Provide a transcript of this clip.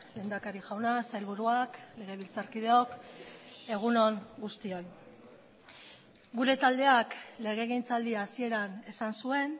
lehendakari jauna sailburuak legebiltzarkideok egun on guztioi gure taldeak legegintzaldi hasieran esan zuen